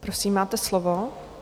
Prosím, máte slovo.